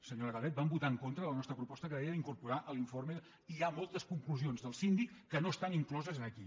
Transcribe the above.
senyora calvet van votar en contra de la nostra proposta que deia d’incorporar l’informe i hi ha moltes conclusions del síndic que no estan incloses aquí